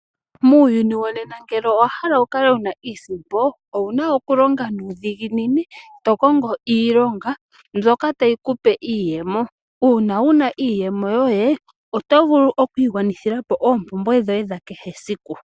Muuyuni wonena ngele owa hala wu kale wuna iisimpo, owu na okulonga nuudhiginini to kongo iilonga mbyoka tayi kupe iiyemo. Uuna wunaiiyemo yoye oto vulu oku igwanithilapo oompumbwe dhoye dhakehe esiku.